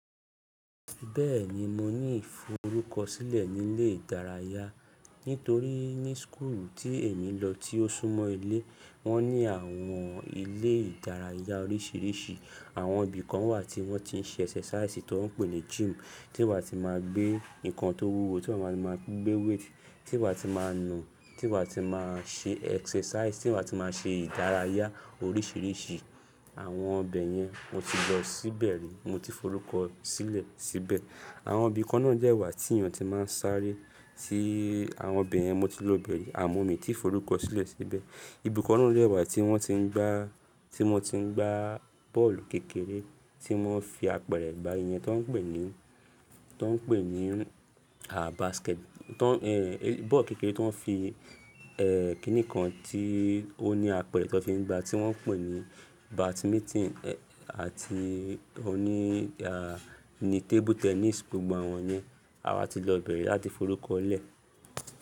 Bẹ́ẹ̀ni mo ní ìforúkọ sílẹ̀ nílé ìdárayá, nítorí ní school tí èmi lọ tí ó sún mọ́ ilé, wọ́n ní àwọn ilé ìdárayá oríṣiiríṣii. Àwọn ibi kan wà tí wọ́n ti ń ṣe exercise ti woń pè ní gym, tí màá ti máa gbé nǹkan tó wúwo, tí mà máa ti máa gbé weight, tí màá ti máa nù, tí màá ti máa ṣe exercise, tí màá ti máa ṣe ìdárayá oríṣiiríṣii. Àwọn ọbẹ̀ yẹn mo ti lọ síbẹ̀ rí, mo ti forúkọ sílẹ̀ síbẹ̀. Àwọn ibi kan náà dẹ́ wà tí èèyàn ti máa ń sáré tí àwọn ibẹ̀yẹn mo ti lọ ibẹ̀ ri, àmọ́ mi ti forúkọ sílẹ̀ síbẹ̀. Ibi kan náà dẹ́ wà tí wọ́n ti ń gbá, tí wọ́n ti ń gbá bọ́ọ̀lù kékeré, tí wọ́n fi apẹ̀rẹ̀ gbá ìyẹn tó ń pè ní, tó ń pè ní, basket, tó ń, bọ́ọ̀lù kékeré ti wóń fi, kínì kan tí ó ní apẹ̀rẹ̀ tó n fi ń gbá tí wọ́n ń pè ní badminton, àti òní, ni table tennis, gbogbo àwọn yẹn awà ti lọ ibẹ̀ ri láti forúkọ lẹ̀.